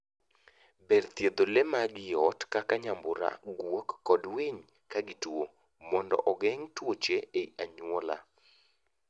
Ber thiedho lee mag ii ot, kaka nyambura, guok, kod winy ka gituo mondo ogeng' tuche ei anyuola.